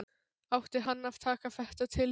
Átti hann að taka þetta til sín?